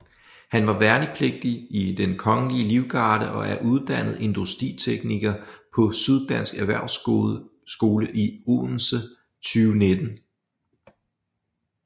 Han var værnepligtig i Den Kongelige Livgarde og er uddannet industritekniker på Syddansk Erhvervsskole i Odense 2019